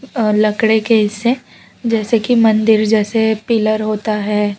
अह लकड़े के ऐसे जैसे कि मंदिर जैसे पिलर होता है।